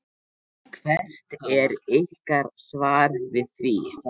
Hvert er ykkar svar við því?